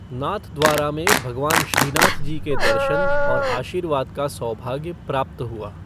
नाथद्वारा में भगवान श्रीनाथजी के दर्शन और आशीर्वाद का सौभाग्य प्राप्त हुआ।